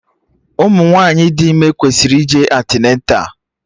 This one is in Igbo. Ụmụ nwaanyị dị ime kwesịrị ije antịneta